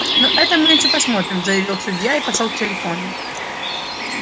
ну это мы ещё посмотрим заявил судья и пошёл к телефону